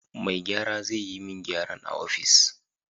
Mai gyara zai yi min gyaran a ofis.